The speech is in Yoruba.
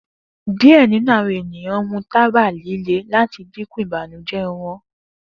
Diẹ ninu awọn eniyan mu taba lile lati dinku ibanujẹ wọn